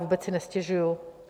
Vůbec si nestěžuji.